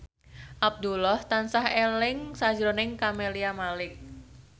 Abdullah tansah eling sakjroning Camelia Malik